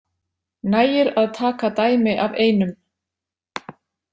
Nægir að taka dæmi af einum.